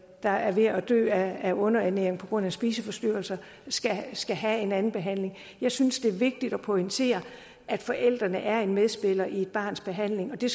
der er ved at dø af underernæring på grund af spiseforstyrrelser skal skal have en anden behandling jeg synes det er vigtigt at pointere at forældrene er en medspiller i et barns behandling og det